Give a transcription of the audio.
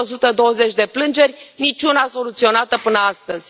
Peste 120 de plângeri, niciuna soluționată până astăzi.